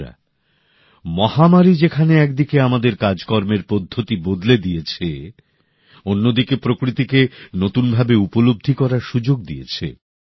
বন্ধুরা মহামারী যেখানে একদিকে আমাদের কাজকর্মের পদ্ধতি বদলে দিয়েছে অন্যদিকে প্রকৃতিকে নতুনভাবে উপলব্ধি করার সুযোগ দিয়েছে